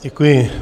Děkuji.